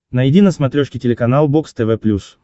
найди на смотрешке телеканал бокс тв плюс